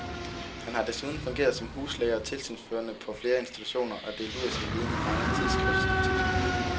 Han har desuden fungeret som huslæge og tilsynsførende på flere institutioner og delt ud af sin viden i mange tidsskriftsartikler.